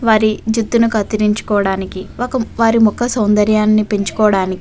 వారి జుట్టు ని కత్తిరించడానికి వక వారి ముఖ్య సౌందర్యాన్ని పెంకుకోటానికి.